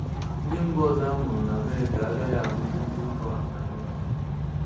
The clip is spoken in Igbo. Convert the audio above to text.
Ndị mba ọzọ amụrụ n'Amerịka agaghị abụzị ndị mba anyị ọzọ.